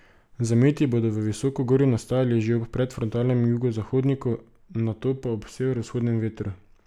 Zameti bodo v visokogorju nastajali že ob predfrontalnem jugozahodniku, nato pa ob severovzhodnem vetru.